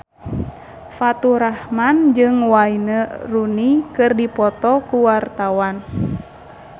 Faturrahman jeung Wayne Rooney keur dipoto ku wartawan